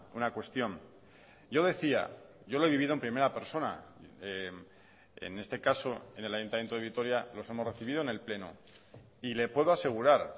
una cuestión yo decía yo lo he vivido en primera persona en este caso en el ayuntamiento de vitoria los hemos recibido en el pleno y le puedo asegurar